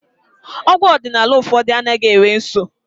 Ọgwụ ọdịnala ụfọdụ anaghị enwe nsọ